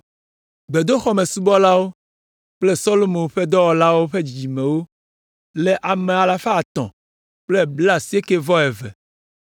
Gbedoxɔmesubɔlawo kple Solomo ƒe dɔlawo ƒe dzidzimeviwo le ame alafa etɔ̃ kple blaasiekɛ-vɔ-eve (392).